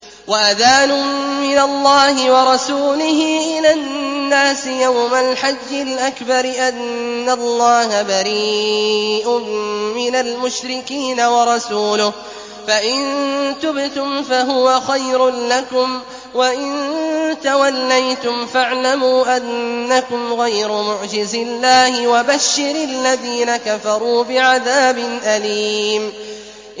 وَأَذَانٌ مِّنَ اللَّهِ وَرَسُولِهِ إِلَى النَّاسِ يَوْمَ الْحَجِّ الْأَكْبَرِ أَنَّ اللَّهَ بَرِيءٌ مِّنَ الْمُشْرِكِينَ ۙ وَرَسُولُهُ ۚ فَإِن تُبْتُمْ فَهُوَ خَيْرٌ لَّكُمْ ۖ وَإِن تَوَلَّيْتُمْ فَاعْلَمُوا أَنَّكُمْ غَيْرُ مُعْجِزِي اللَّهِ ۗ وَبَشِّرِ الَّذِينَ كَفَرُوا بِعَذَابٍ أَلِيمٍ